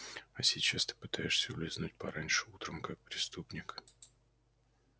а сейчас ты пытаешься улизнуть пораньше утром как преступник